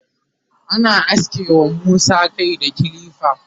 ana aske wa Musa Kai da kilifa